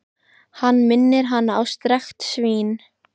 Hann minnir hana á strekkt svín.